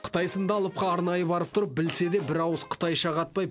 қытай сынды алып елге арнайы барып тұрып білсе де бір ауыз қытайша қатпай